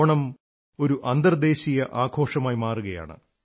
ഓണം ഒരു അന്തർദ്ദേശീയ ആഘോഷമായി മാറുകയാണ്